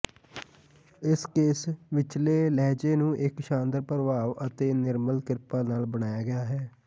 ਇਸ ਕੇਸ ਵਿਚਲੇ ਲਹਿਜੇ ਨੂੰ ਇੱਕ ਸ਼ਾਨਦਾਰ ਪ੍ਰਭਾਵ ਅਤੇ ਨਿਰਮਲ ਕ੍ਰਿਪਾ ਨਾਲ ਬਣਾਇਆ ਗਿਆ ਹੈ